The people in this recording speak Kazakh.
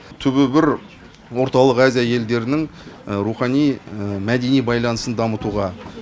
түбі бір орталық азия елдерінің рухани мәдени байланысын дамытуға